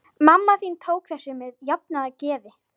Mamma þín tók þessu með jafnaðargeði.